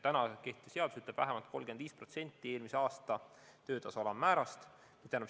Kehtiv seadus ütleb, et vähemalt 35% eelmise aasta töötasu alammäärast.